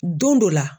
Don dɔ la